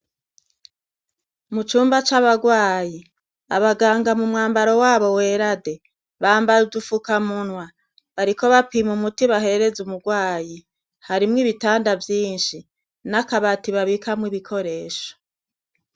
Mu cumba c' abarwayi, abaganga mu mwambaro wabo wera de ,bambaye udufukamunwa, bariko bapima umuti bahereza umurwayi, harimwo ibitanda vyinshi, n' akabati abikamwo ibikoresho .